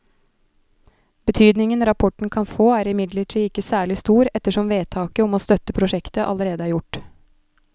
Betydningen rapporten kan få er imidlertid ikke særlig stor ettersom vedtaket om å støtte prosjektet allerede er gjort.